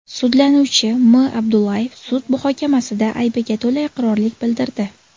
Sudlanuvchi M. Abdullayev sud muhokamasida aybiga to‘la iqrorlik bildirdi.